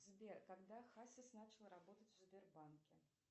сбер когда хасис начал работать в сбербанке